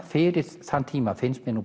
fyrir þann tíma finnst mér nú